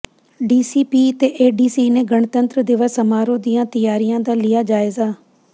DCP ਤੇ ADC ਨੇ ਗਣਤੰਤਰ ਦਿਵਸ ਸਮਾਰੋਹ ਦੀਆਂ ਤਿਆਰੀਆਂ ਦਾ ਲਿਆ ਜਾਇਜ਼ਾ